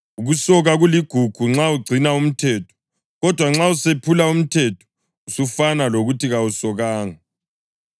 Ukusoka kuligugu nxa ugcina umthetho, kodwa nxa usephula umthetho, usufana lokuthi kawusokanga.